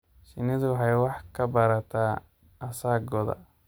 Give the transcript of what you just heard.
Shinnidu waxay wax ka barataa asaagooda.